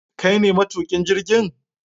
kaine matukin jirgin?